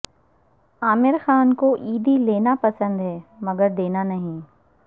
عامرخان کو عیدی لینا پسند ہے مگر دینا نہیں